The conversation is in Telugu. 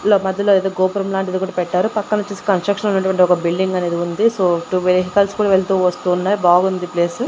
మధ్యలో ఏదో గోపురం లాంటిది కూడా పెట్టారు పక్కనొచ్చేసి కన్స్ట్రక్షన్ అనేటువంటి ఒక బిల్డింగ్ అనేది ఉంది సో టు వెహికల్స్ కూడా వెళ్తూ వస్తూ ఉన్నాయి బాగుంది ప్లేసు .